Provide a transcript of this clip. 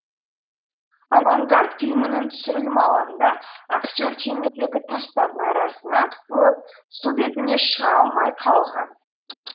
авангард фильмінің түсірілім алаңында актер теңіздегі тастардың арасына қысылып су бетіне шыға алмай қалған